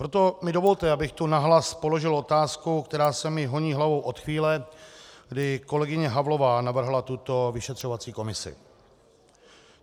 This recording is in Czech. Proto mi dovolte, abych tu nahlas položil otázku, která se mi honí hlavou od chvíle, kdy kolegyně Havlová navrhla tuto vyšetřovací komisi.